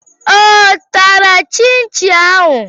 Ọ tara Chinchin ahụ?